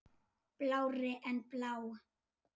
Blárri en blá.